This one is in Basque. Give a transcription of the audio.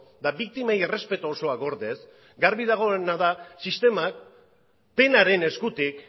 eta biktimei errespetu osoa gordez garbi dagoena da sistemak penaren eskutik